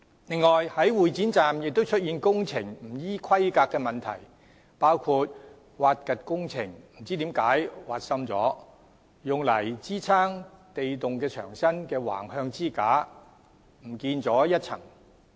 此外，會展站亦出現工程不依規格的問題，包括在挖掘的工程中不知何故竟挖深了，用以支撐地洞牆身的橫向支架也不見了一層。